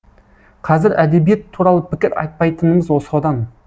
қазір әдебиет туралы пікір айтпайтынымыз содан